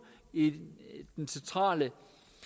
i det centrale